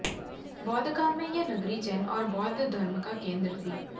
बौद्धकाल में यह नगरी जैन और बौद्ध धर्म का केंद्र थी